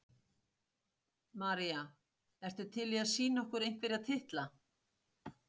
María: Ertu til í að sýna okkur einhverja titla?